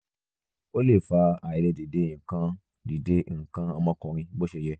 ó lè fa àìlè dìde nǹkan dìde nǹkan ọmọkùnrin bó ṣe yẹ